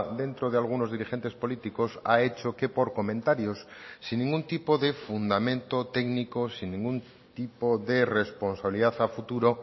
dentro de algunos dirigentes políticos ha hecho que por comentarios sin ningún tipo de fundamento técnico sin ningún tipo de responsabilidad a futuro